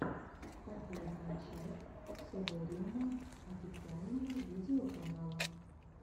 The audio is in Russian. последняя часть совэриума официального видеоканала